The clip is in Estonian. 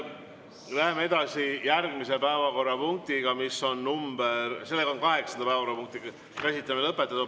Kaheksanda päevakorrapunkti käsitlemine on lõpetatud.